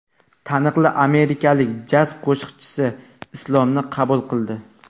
Taniqli amerikalik jaz qo‘shiqchisi Islomni qabul qildi.